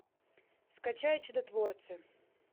скачай чудотворцы